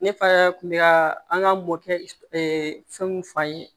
Ne fa kun bɛ ka an ka mɔkɛ fɛnw f'an ye